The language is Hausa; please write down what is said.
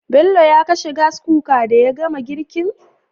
Bello ya kashe Gas Cooker daya gama girkin?